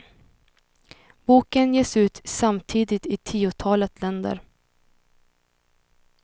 Boken ges ut samtidigt i tiotalet länder.